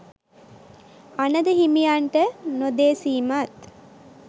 අනඳ හිමියන්ට නොදෙසීමත්